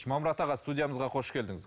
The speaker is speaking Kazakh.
жұмамұрат аға студиямызға қош келдіңіз